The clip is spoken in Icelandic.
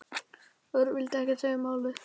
Örn vildi ekkert segja um málið.